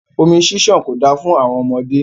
Omi ṣiṣan ko da fún àwọn ọmọdé.